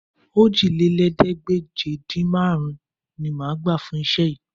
Òjìlélẹ́ẹ̀ẹ́dégbèje-dín-márùn-ún ni máa gbà fún iṣẹ́ yìí